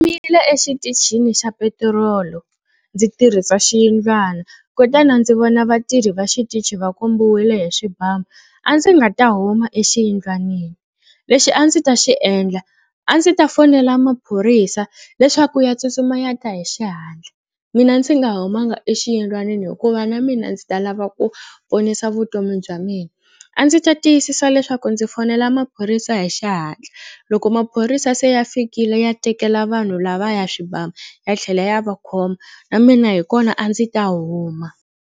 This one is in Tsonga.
exitichini xa petirolo ndzi tirhisa xiyindlwana kutani ndzi vona vatirhi va xitichi va kombiwile hi swibamu a ndzi nga ta huma exiyindlwanini. Lexi a ndzi ta xi endla a ndzi ta fonela maphorisa leswaku ya tsutsuma ya ta hi xihatla mina ndzi nga humanga exiyindlwanini hikuva na mina ndzi ta lava ku ponisa vutomi bya mina. A ndzi ta tiyisisa leswaku ndzi fonela maphorisa hi xihatla loko maphorisa se ya fikile ya tekela vanhu lavaya swibamu ya tlhela ya va khoma na mina hi kona a ndzi ta huma.